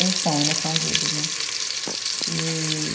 Eles são, ainda estão vivos, né? E